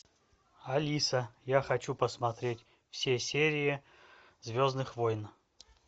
алиса я хочу посмотреть все серии звездных войн